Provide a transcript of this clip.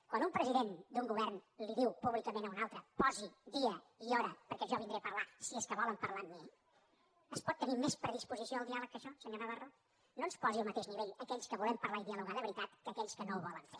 quan un president d’un govern li diu públicament a un altre posi dia i hora perquè jo vindré a parlar si és que volen parlar amb mi es pot tenir més predisposició al diàleg que això senyor navarro no ens posi al mateix nivell a aquells que volem parlar i dialogar de veritat que a aquells que no ho volen fer